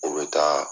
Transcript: O bɛ taa